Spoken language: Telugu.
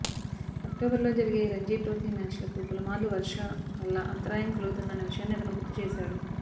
అక్టోబర్లో జరిగే రంజీ ట్రోఫీ మ్యాచ్లకు పలుమార్లు వర్షం వల్ల అంతరాయం కలుగుతున్న విషయాన్ని అతను గుర్తుచేశాడు